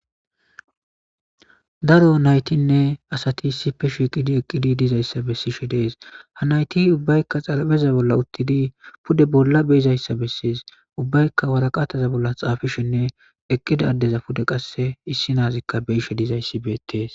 Daro naytinne asati sife shiqidi eqqidi dizayssa bessishe dees ha nayti ubbaykka xalabeza bolla uttidi pude bolla beizayssa bessees ubbaykka waraqataza bolla xaafishinne eqqida addeza pude qasse issi naazikka beishe dizayssi beettees.